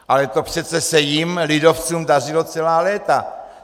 Ale to přece se jim, lidovcům, dařilo celá léta.